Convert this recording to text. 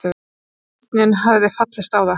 Stjórnin hefði fallist á það.